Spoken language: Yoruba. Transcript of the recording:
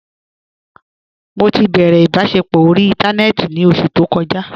Mọ ti bẹrẹ ibasẹpọ orí ìntánẹnẹ́tì ní ọṣù tó kòjà.